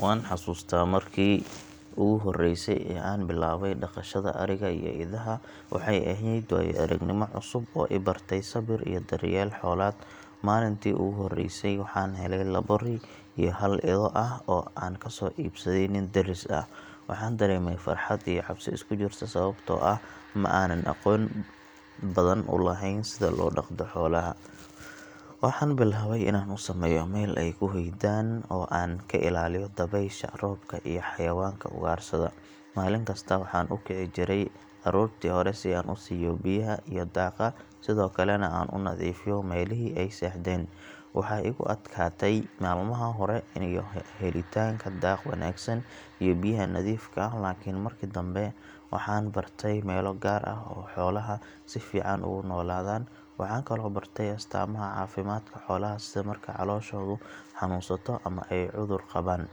Waan xasuustaa markii ugu horreysay ee aan bilaabay dhaqashada ariga iyo idaha, waxay ahayd waayo-aragnimo cusub oo i bartay sabir iyo daryeel xoolaad. Maalintii ugu horreysay waxaan helay labo ri iyo hal ido ah oo aan ka soo iibsaday nin deris ah, waxaan dareemay farxad iyo cabsi isku jirta sababtoo ah ma aanan aqoon badan u lahayn sida loo dhaqdo xoolaha. Waxaan bilaabay inaan u sameeyo meel ay ku hoydaan oo aan ka ilaaliyo dabaysha, roobka iyo xayawaanka ugaarsada. Maalin kasta waxaan u kici jiray aroortii hore si aan u siiyo biyaha iyo daaqa, sidoo kalena aan u nadiifiyo meelihii ay seexdeen. Waxaa igu adkaatay maalmaha hore helitaanka daaq wanaagsan iyo biyaha nadiifka ah laakiin markii dambe waxaan bartay meelo gaar ah oo xoolaha si fiican ugu noolaadaan. Waxaan kaloo bartay astaamaha caafimaadka xoolaha sida marka calooshoodu xanuunsato ama ay cudur qabaan.